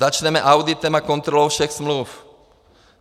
Začneme auditem a kontrolou všech smluv.